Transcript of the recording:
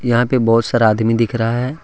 यहां पे बहुत सारा आदमी दिख रहा है।